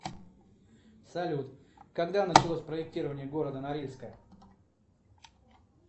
салют когда началось проектирование города норильска